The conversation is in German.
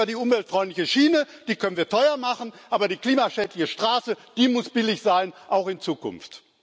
Das ist ja die umweltfreundliche Schiene, die können wir teuer machen, aber die klimaschädliche Straße muss billig sein, auch in Zukunft.